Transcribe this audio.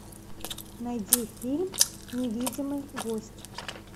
найди фильм невидимый гость